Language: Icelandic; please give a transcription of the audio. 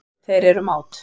Þeir eru mát.